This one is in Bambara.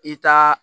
I ka